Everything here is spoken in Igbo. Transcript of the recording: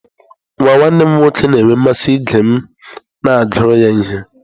Nwa nwanne m nwoke na-enwe mmasị ige m na-agụrụ ya ihe.